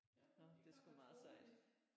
Nå det er sgu meget sejt